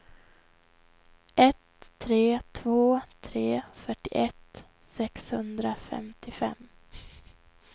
ett tre två tre fyrtioett sexhundrafemtiofem